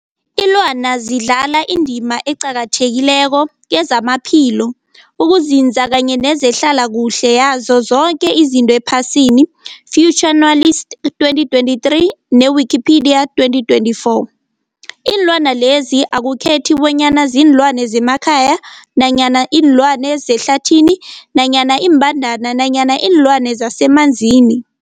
Ilwana zidlala indima eqakathekileko kezamaphilo, ukunzinza kanye nezehlala kuhle yazo zoke izinto ephasini, Fuanalytics 2023 ne-Wikipedia 2024. Iinlwana lezi akukhethi bonyana ziinlwana zemakhaya nanyana kuziinlwana zehlathini nanyana iimbandana nanyana iinlwana zemanzini.